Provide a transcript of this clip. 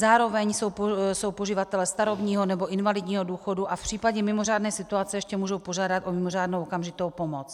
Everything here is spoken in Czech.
Zároveň jsou poživateli starobního a invalidního důchodu a v případě mimořádné situace ještě můžou požádat o mimořádnou okamžitou pomoc.